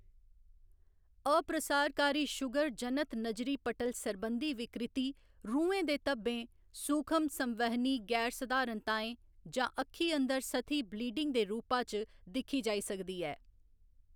अप्रसारकारी sugar जनत नजरी पटल सरबंधी विकृति रुऐं दे धब्बें, सूखम संवहनी गैरसधारणताएं जां अक्खीं अंदर सतही बलीडिंग दे रूपा च दिक्खी जाई सकदी ऐ।